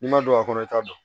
N'i ma don a kɔnɔ i t'a dɔn